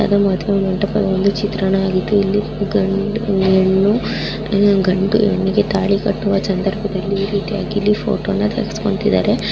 ಇದೊಂದು ಮದುವೆ ಚಿತ್ರಣ ಆಗಿದೆ ಗಂಡು ಹೆಣ್ಣಿಗೆ ತಾಳಿ ಕಟ್ಟುವ ಸಂದರ್ಭದಲ್ಲಿ ಫೋಟೋವನ್ನು ತೆಗೆಸಿಕೊಳ್ತಾ ಇದ್ದಾರೆ.